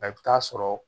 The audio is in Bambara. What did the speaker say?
A bɛ taa sɔrɔ